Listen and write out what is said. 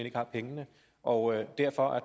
ikke har pengene og derfor